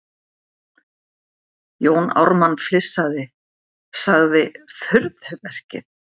Jón Ármann flissandi:- Sagði furðuverkið.